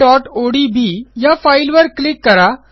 libraryओडीबी या फाईलवर क्लिक करा